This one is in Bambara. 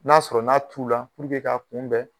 N'a sɔrɔ n'a t'u la k'a kunbɛn